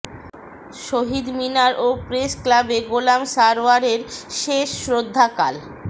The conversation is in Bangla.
শহীদ মিনার ও প্রেসক্লাবে গোলাম সারওয়ারের শেষ শ্রদ্ধা কাল